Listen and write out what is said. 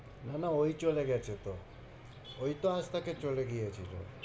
না না ওই চলে গেছে তো ওই তো আস্তাকে চলে গিয়েছিলো।